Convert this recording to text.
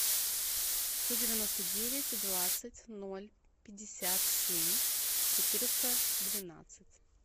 сто девяносто девять двадцать ноль пятьдесят семь четыреста двенадцать